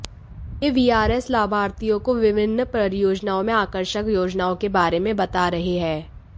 ये वीआरएस लाभार्थियों को विभिन्न परियोजनाओं में आकर्षक योजनाओं के बारे में बता रहे हैं